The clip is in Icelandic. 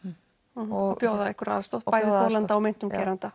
og bjóða einhverja aðstoð bæði þolanda og meintum geranda